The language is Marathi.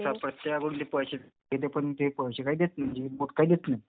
प्रत्येकाकडून ते पैसे घेते. पण ते पैसे काही देत नाय म्हणजे इनपुट काय देत नाय.